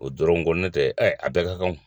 O dɔrɔn ko ne tɛ a bɛɛ ka kan